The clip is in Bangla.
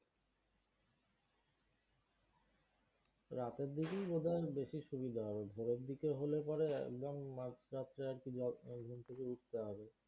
রাতের দিকেই মনে হয় বেশি সুবিধা হবে। ভোরের দিকে হলে পরে একদম মাঝ রাত্রে আর কি ঘুম থেকে উঠতে হবে।